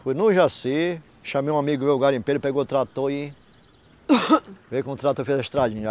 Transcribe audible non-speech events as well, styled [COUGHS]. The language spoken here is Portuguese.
Fui no Jaci, chamei um amigo meu garimpeiro, pegou o trator e [COUGHS] veio com o trator, fez a estradinha.